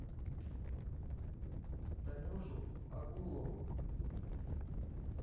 танюшу акулову